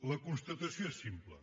la constatació és simple